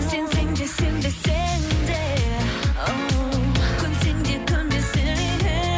сенсең де сенбесең де оу көнсең де көнбесең де